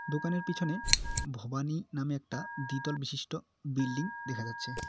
দোকানের পিছনে ভবানী নামে একটা দ্বিতল বিশিষ্ট বিল্ডিং দেখা যাচ্ছে।